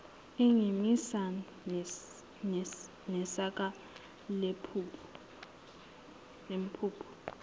engimisa nesaka lempuphu